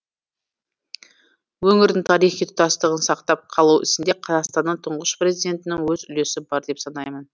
өңірдің тарихи тұтастығын сақтап қалу ісінде қазақстанның тұңғыш президентінің өз үлесі бар деп санаймын